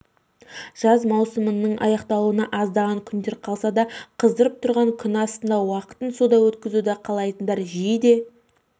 жаз маусымының аяқталуына аздаған күндер қалсадағы қыздырып тұрған күн астында уақытын суда өткізуді қалайтындар жиі де